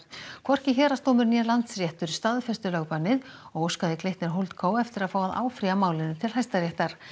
hvorki héraðsdómur né Landsréttur staðfestu lögbannið og óskaði Glitnir HoldCo eftir að fá að áfrýja málinu til Hæstaréttar